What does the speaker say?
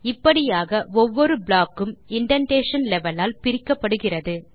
இப்படியாக ஒவ்வொரு ப்ளாக் கும் இண்டென்டேஷன் லெவல் ஆல் பிரிக்கப்படுகிறது